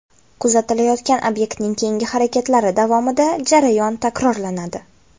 Kuzatilayotgan obyektning keyingi harakatlari davomida jarayon takrorlanadi.